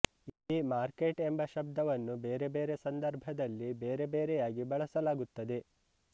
ಈ ಮಾರ್ಕೆಟ್ ಎಂಬ ಶಬ್ದವನ್ನು ಬೇರೆ ಬೇರೆ ಸಂದರ್ಭದಲ್ಲಿ ಬೇರೆ ಬೇರೆಯಾಗಿ ಬಳಸಲಾಗುತ್ತದೆ